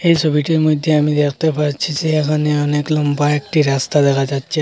এই ছবিটির মইধ্যে আমি দেখতে পাচ্ছি যে এখানে অনেক লম্বা একটি রাস্তা দেখা যাচ্ছে।